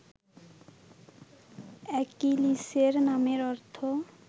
অ্যাকিলিসের নামের অর্থ